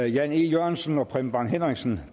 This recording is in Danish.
jan e jørgensen og preben bang henriksen